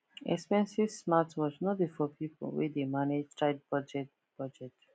expensive smartwatch no be for people wey dey manage tight budget budget